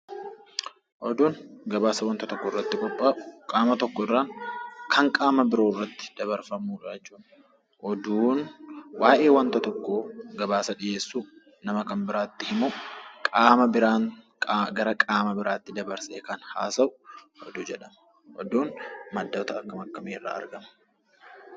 Oduun waanta gabaasa tokko irratti dhihaatu, qaama tokko irraa kan qaama biroo irratti dabarfamudha jechuudha. Oduun waa'ee wanta tokko oduu dabarsuuf gara qaama biraatti dabarsee haasawu Oduu jedhama. Oduun maddoota akkamii akkamii irraa argama?